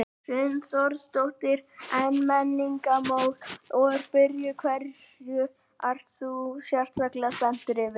Hrund Þórsdóttir: En Menningarnótt er byrjuð, hverju ert þú sérstaklega spenntur yfir?